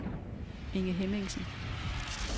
Inge Hemmingsen